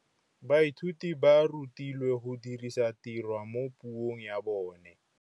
Baithuti ba rutilwe go dirisa tirwa mo puong ya bone.